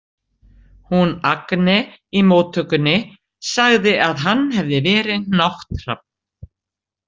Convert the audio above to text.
Hún Agne í móttökunni sagði að hann hefði verið nátthrafn.